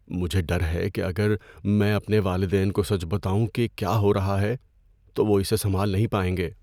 مجھے ڈر ہے کہ اگر میں اپنے والدین کو سچ بتاؤں کہ کیا ہو رہا ہے، تو وہ اسے سنبھال نہیں پائیں گے۔